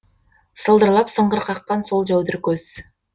сылдырлап сыңғыр қаққан сол жәудір көз